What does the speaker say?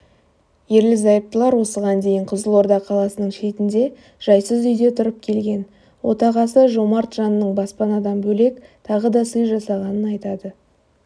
ерлі-зайыптылар осыған дейін қызылорда қаласының шетінде жайсыз үйде тұрып келген отағасы жомарт жанның баспанадан бөлек тағы да сый жасағанын айтады